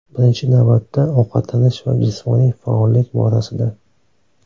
Birinchi navbatda ovqatlanish va jismoniy faollik borasida.